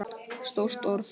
Stórt orð.